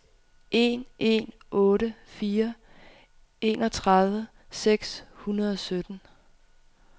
en en otte fire enogtredive seks hundrede og sytten